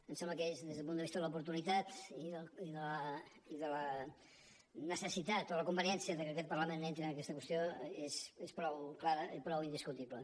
em sembla que des del punt de vista de l’oportunitat i de la necessitat o la conveniència de que aquest parlament entri en aquesta qüestió és prou clara i prou indiscutible